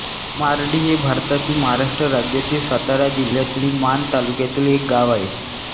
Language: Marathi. मार्डी हे भारतातील महाराष्ट्र राज्यातील सातारा जिल्ह्यातील माण तालुक्यातील एक गाव आहे